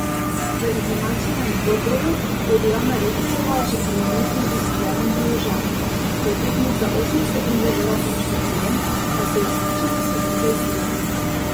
V izenačenem dvoboju je bila Nareksova že po minuti v izgubljenem položaju, ko je tekmica osem sekund držala končni prijem, a se je izkušena Slovenka izvila.